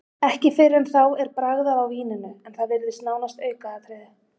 Ekki fyrr en þá er bragðað á víninu, en það virðist nánast aukaatriði.